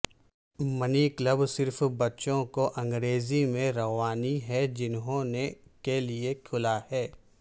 منی club صرف بچوں کو انگریزی میں روانی ہیں جنہوں نے کے لئے کھلا ہے